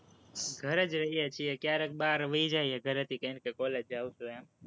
ઘરે જ રહીયે છીએ, ક્યારેક બહાર વઈ જઈએ, ઘરેથી કહીને કે college જાવ છું, એમ